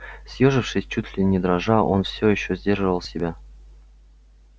съёжившись чуть ли не дрожа он все ещё сдерживал себя